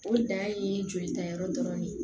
O dan ye jolita yɔrɔ dɔrɔn de ye